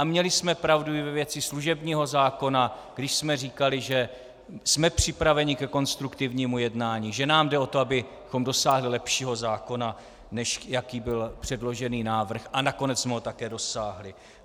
A měli jsme pravdu i ve věci služebního zákona, když jsme říkali, že jsme připraveni ke konstruktivnímu jednání, že nám jde o to, abychom dosáhli lepšího zákona, než jaký byl předložený návrh, a nakonec jsme ho také dosáhli.